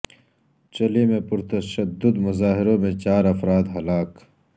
چلی میں پرتشدد مظاہروں میں چار افراد ہلاک